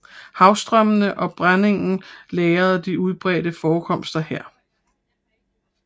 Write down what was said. Havstrømmende og brændingen lagrede de udbredte forekomster her